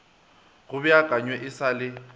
go beakanywe e sa le